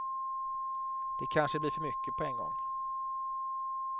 Det kanske blir för mycket på en gång.